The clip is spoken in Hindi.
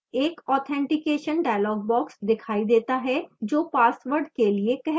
एक authentication dialog box दिखाई देता है जो password के लिए कहता है